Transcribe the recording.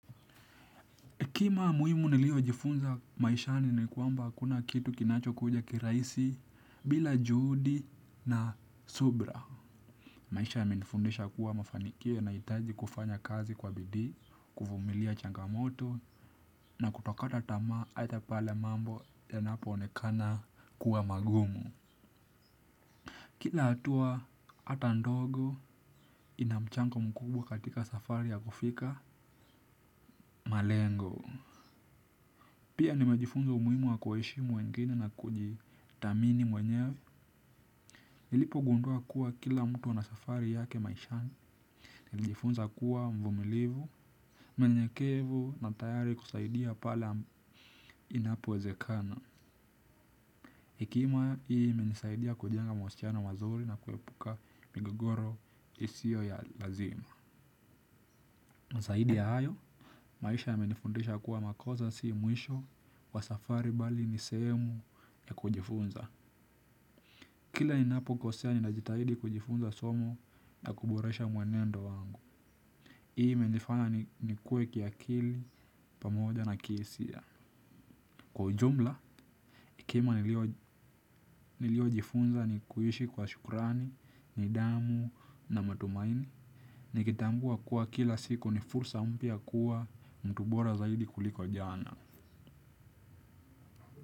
Kima muhimu niliojifunza maishani ni kwamba hakuna kitu kinachokuja kirahisi bila juhudi na subira. Maisha yamenifundisha kuwa mafanikio yanahitaji kufanya kazi kwa bidii, kuvumilia changamoto na kutokata tamaa aidha pale mambo yanapoonekana kuwa magumu. Kila hatua hata ndogo ina mchango mkubwa katika safari ya kufika malengo. Pia nimejifunza umuhimu wa kuheshimu wengine na kujithamini mwenyewe. Nilipogundua kuwa kila mtu ana safari yake maishani, nilijifunza kuwa mvumilivu, mnyenyekevu na tayari kusaidia pale inapowezekana. Hekima hii imenisaidia kujenga mahusiano mazuri na kuepuka migogoro isiyo ya lazima. Na zaidi ya hayo, maisha yamenifundisha kuwa makosa si mwisho wa safari bali ni sehemu ya kujifunza. Kila ninapokosea ninajitahidi kujifunza somo na kuboresha mwenendo wangu. Hii imenifanya nikue kiakili pamoja na kihisia. Kwa ujumla, kima niliojifunza ni kuishi kwa shukrani, nidhamu na matumaini. Nikitambua kuwa kila siku ni fursa mpya kuwa mtu bora zaidi kuliko jana.